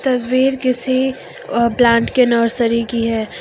तस्वीर किसी प्लांट के नर्सरी की है।